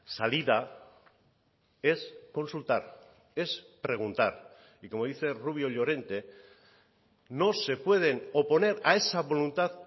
salida es consultar es preguntar y como dice rubio llorente no se pueden oponer a esa voluntad